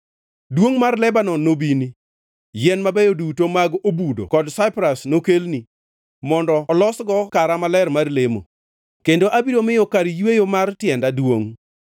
Duongʼ mar Lebanon nobini, yien mabeyo duto mag obudo kod saipras nokelni, mondo olosgo kara maler mar lemo kendo abiro miyo kar yweyo mar tienda duongʼ.